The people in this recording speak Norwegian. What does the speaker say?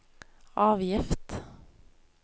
avgift